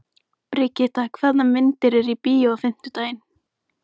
Brigitta, hvaða myndir eru í bíó á fimmtudaginn?